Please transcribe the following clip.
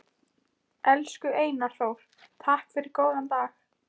Elsku Einar Þór, takk fyrir góðan dag.